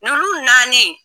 Nunnu naani.